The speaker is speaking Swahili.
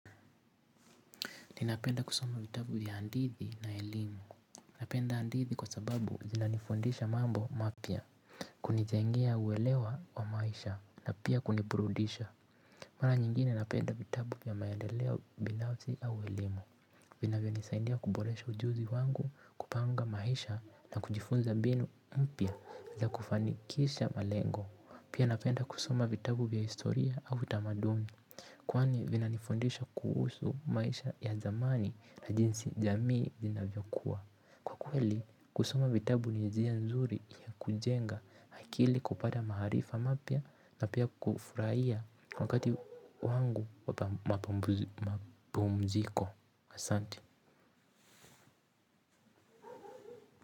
Ninapenda kusoma vitabu vya handithi na elimu. Napenda handithi kwa sababu zinanifundisha mambo mapya. Kunijengea huelewa wa maisha na pia kunipurudisha. Mara nyingine napenda vitabu ya maendeleo bilazi au elimu. Vinavyo nisaidia kuboresha ujuzi wangu, kupanga maisha na kujifunza mbinu mpya za kufanikisha malengo. Pia napenda kusoma vitabu vya historia au tamaduni. Kwani vinanifundisha kuhusu maisha ya zamani na jinsi jamii inavyokua, kwa kweli kusoma vitabu ni njia nzuri ya kujenga akili kupata maarifa mapya na pia kufurahia. Wakati wangu wamapumziko asanti.